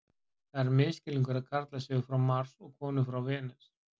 Það er misskilningur að karlar séu frá Mars og konur frá Venus.